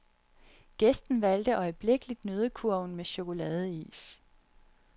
Gæsten valgte øjeblikkeligt nøddekurven med chokoladeis.